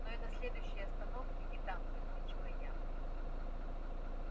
но и на следующей остановке не дам закончила я